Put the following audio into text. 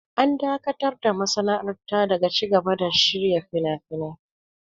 An dakatar da masana'antar daga cigaba da shirya finafinai.